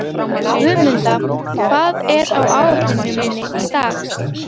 Guðmunda, hvað er á áætluninni minni í dag?